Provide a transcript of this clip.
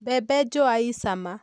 Mbembe njũa i cama.